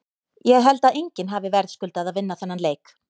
Ég held að enginn hafi verðskuldað að vinna þennan leik.